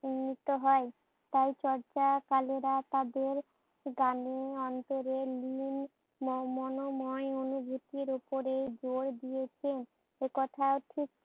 উন্নীত হয়। আর চর্যাকারেরা তাদের দামি অন্তরের অনুভুতির ওপরে জোর দিয়েছে। একথা ঠিক